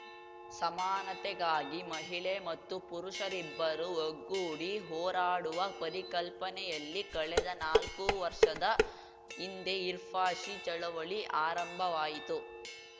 ಸಮಾನತೆಗಾಗಿ ಮಹಿಳೆ ಮತ್ತು ಪುರುಷರಿಬ್ಬರೂ ಒಗ್ಗೂಡಿ ಹೋರಾಡುವ ಪರಿಕಲ್ಪನೆಯಲ್ಲಿ ಕಳೆದ ನಾಲ್ಕು ವರ್ಷದ ಹಿಂದೆ ಹಿ ಫಾರ್‌ ಶಿ ಚಳವಳಿ ಆರಂಭವಾಯಿತು